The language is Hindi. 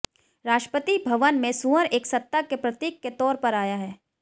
राष्ट्रपति भवन में सूअर एक सत्ता के प्रतीक के तौर पर आया है